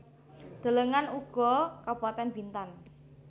Delengen uga Kabupatèn Bintan